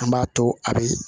An b'a to a bi